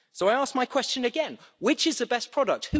So I ask my question again which is the best product?